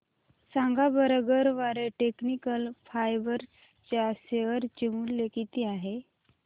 सांगा बरं Garware technical fibres च्या शेअर चे मूल्य किती आहे